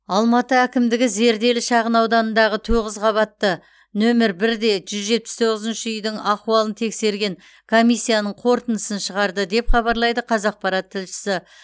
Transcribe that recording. алматы әкімдігі зерделі шағынауданындағы тоғыз қабатты нөмір бір де жүз жетпіс тоғызыншы үйдің ахуалын тексерген комиссияның қорытындысын шығарды деп хабарлайды қазақпарат тілшісі